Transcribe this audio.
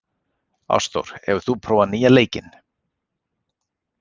Ástþór, hefur þú prófað nýja leikinn?